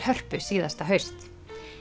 Hörpu síðasta haust